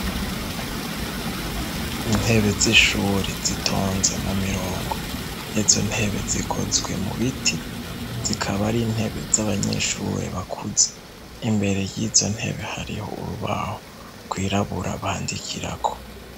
Intebe z'ishuri zitonze mu mirongo izo ntebe zikozwe mu biti zikaba ari intebe z'abanyeshuri bakuze imbere y'izo ntebe hariho urubaho gwirabura bandikirako.